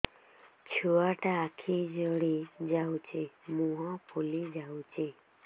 ଛୁଆଟା ଆଖି ଜଡ଼ି ଯାଉଛି ମୁହଁ ଫୁଲି ଯାଉଛି